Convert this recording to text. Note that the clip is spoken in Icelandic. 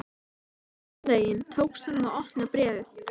Einhvern veginn tókst honum að opna bréfið.